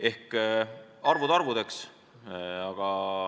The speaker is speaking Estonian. Ent arvud arvudeks.